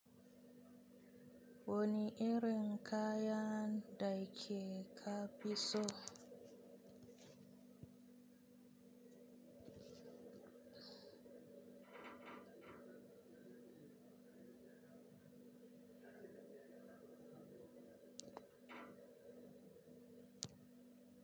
Wani irin kaya da kika fi so?